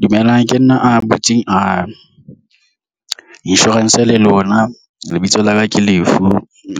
Dumelang ke nna a butseng a insurance le lona lebitso la ka ke